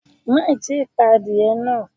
Má ì tí pa adìẹ náà.